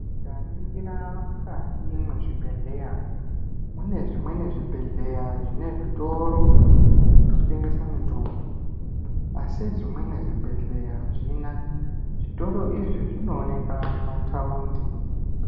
Tikaningira mukati mezvibhedhlera mune zvimweni zvibhedhlera zvine zvitoro zvinotengesa mitombo asi zvimweni zvibhedhlera azvina zvitoro izvi zvinooneka mumatawundi.